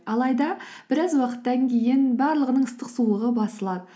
алайда біраз уақыттан кейін барлығының ыстық суығы басылады